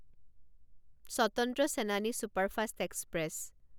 Swatantra Senani superfast express